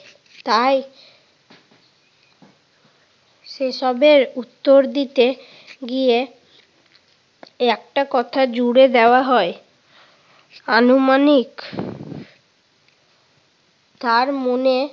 তাই সেসবের উত্তর দিতে গিয়ে একটা কথা জুড়ে দেওয়া হয় আনুমানিক কার মনে